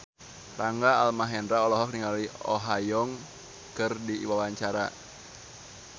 Rangga Almahendra olohok ningali Oh Ha Young keur diwawancara